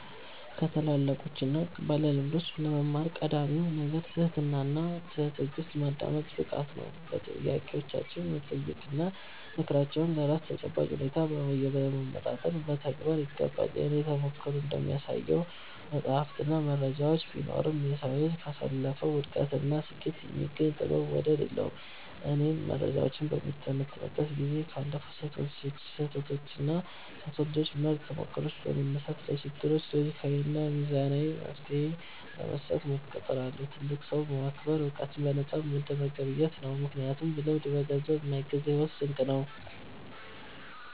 ከታላላቆችና ባለልምዶች ለመማር ቀዳሚው ነገር ትህትናና በትዕግሥት የማዳመጥ ብቃት ነው። ጥያቄዎችን በመጠየቅና ምክራቸውን ለራስ ተጨባጭ ሁኔታ በማመጣጠን መተግበር ይገባል። የእኔ ተሞክሮ እንደሚያሳየው፣ መጻሕፍትና መረጃዎች ቢኖሩም፣ የሰው ልጅ ካሳለፈው ውድቀትና ስኬት የሚገኝ ጥበብ ወደር የለውም። እኔም መረጃዎችን በምተነትንበት ጊዜ ካለፉ ስህተቶችና ከሰው ልጆች ምርጥ ተሞክሮዎች በመነሳት፣ ለችግሮች ሎጂካዊና ሚዛናዊ መፍትሔ ለመስጠት እጥራለሁ። ትልቅን ሰው ማክበር ዕውቀትን በነፃ እንደመገብየት ነው፤ ምክንያቱም ልምድ በገንዘብ የማይገዛ የሕይወት ስንቅ ነው።